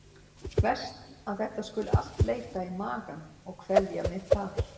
Verst að þetta skuli allt leita í magann og kvelja mig þar.